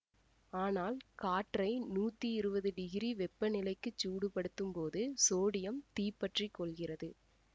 ஆனால் காற்றை நூத்தி இருவது டிகிரி வெப்ப நிலைக்கு சூடு படுத்தும் போது சோடியம் தீப்பற்றிக் கொள்கிறது